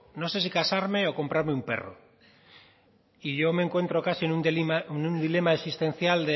no sé si casarme o comprarme un perro y yo me encuentro casi en un dilema existencial